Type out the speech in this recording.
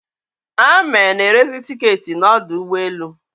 Ame na-erezi tiketị n'udu ụgbọelu